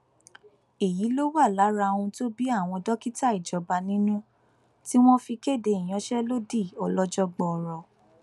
èyí wà lára ohun tó bí àwọn dókítà ìjọba nínú tí wọn fi kéde ìyanṣẹlódì ọlọjọ gbọọrọ